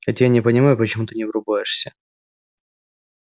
хотя я не понимаю почему ты не врубаешься